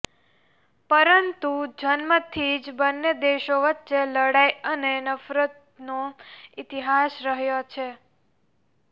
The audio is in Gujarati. પરંતુ જન્મથી જ બંને દેશો વચ્ચે લડાઇ અને નફરતનો ઇતિહાસ રહ્યો છે